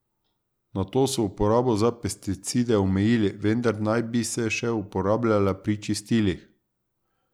Nato so uporabo za pesticide omejili, vendar naj bi se še uporabljale pri čistilih.